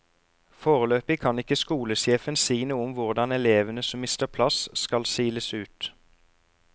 Foreløpig kan ikke skolesjefen si noe om hvordan elevene som mister plass skal siles ut.